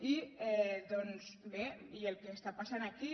i doncs bé el que està passant aquí